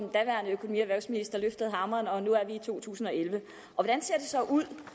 erhvervsminister løftede hammeren og nu er vi i to tusind og elleve hvordan ser det så ud